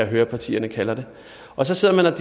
høre at partierne kalder det og så sidder man